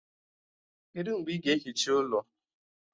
Kedụ mgbe ị ga-ehicha ụlọ?